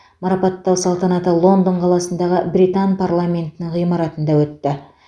марапаттау салтанаты лондон қаласындағы британ парламентінің ғимаратында өтті